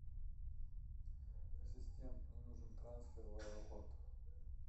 ассистент мне нужен трансфер в аэропорт